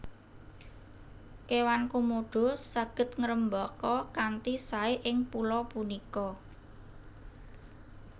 Kéwan Komodo saged ngrembaka kanthi saé ing pulo punika